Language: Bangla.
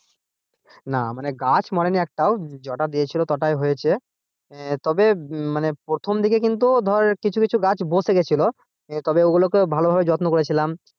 না গাছ মরেনি একটাও যটা দিয়েছিল তোটাই হয়েছে আহ তবে প্রথম দিকে কিন্তু ধর কিছু কিছু গাছ বসে গেছিল তবে ওগুলোকে ভালো ভাবে যত্ন করেছিলাম।